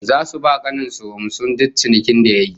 Zasu ba kanin su humusin duk cinikin da yayi